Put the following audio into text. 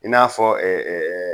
I n'a fɔ